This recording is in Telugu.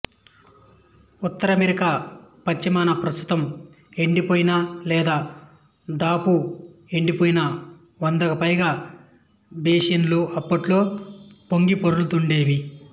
ఉత్తర అమెరికా పశ్చిమాన ప్రస్తుతం ఎండిపోయిన లేదా దాపు ఎండిపోయిన వందకు పైగా బేసిన్లు అప్పట్లో పొంగిపొర్లుతూండేవి